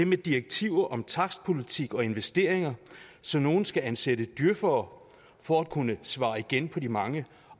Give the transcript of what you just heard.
med direktiver om takstpolitik og investeringer så nogle skal ansætte djøfere for at kunne svare igen på de mange